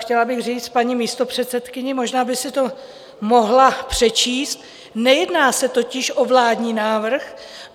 Chtěla bych říci paní místopředsedkyni - možná by si to mohla přečíst - nejedná se totiž o vládní návrh.